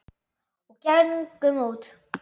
Og gengum út.